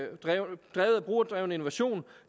brugerdrevet innovation